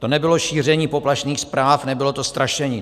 To nebylo šíření poplašných zpráv, nebylo to strašení.